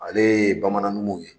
Ale ye Bamanan numu ye.